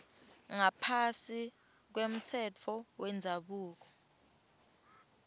ngaphasi kwemtsetfo wendzabuko